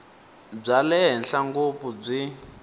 bya le henhla ngopfu byi